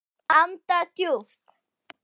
Anda djúpt.